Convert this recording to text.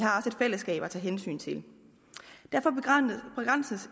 fællesskab at tage hensyn til derfor begrænses